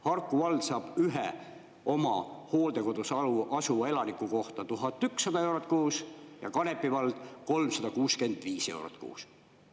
Harku vald saab ühe oma hooldekodus asuva elaniku kohta 1100 eurot kuus ja Kanepi vald 365 eurot kuus.